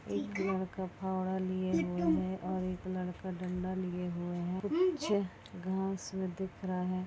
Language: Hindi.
एक लड़का फओरा लिए हुए हैं और एक लड़का डंडा लिए हुए हैं कुछ-अ घास में दिख रहा है।